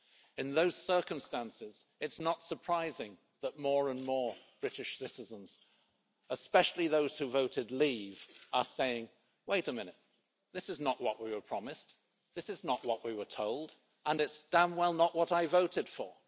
In those circumstances, it is not surprising that more and more British citizens, especially those who voted leave, are saying wait a minute, this is not what we were promised, this is not what we were told, and it's damn well not what I voted for'.